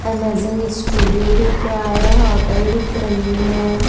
Amazing studio दिख रहा है होटल दिख रही है।